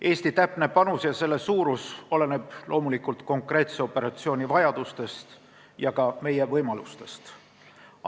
Eesti täpne panus ja üksuse suurus oleneb loomulikult konkreetse operatsiooni vajadustest ja ka meie võimalustest.